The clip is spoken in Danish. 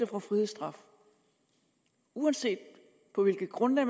får frihedsstraf uanset på hvilket grundlag